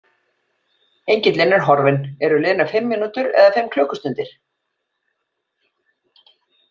Engillinn er horfinn, eru liðnar fimm mínútur eða fimm klukkustundir?